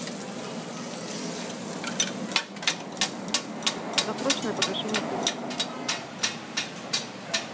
досрочное погашение кредита